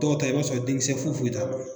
Dɔw ta i b'a sɔrɔ den kisɛ foyi foyi t'a la